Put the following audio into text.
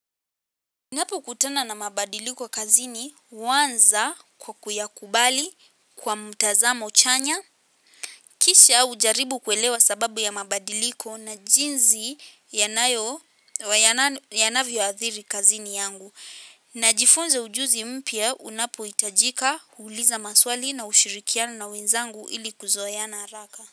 Ninapokutana na mabadiliko kazini, uanza kwa kuyakubali kwa mtazamo chanya. Kishia ujaribu kuelewa sababu ya mabadiliko na jinzi yanavyo athiri kazini yangu. Najifunza ujuzi mpya unapoitajika, huuliza maswali na ushirikiana na wenzangu ili kuzoena haraka.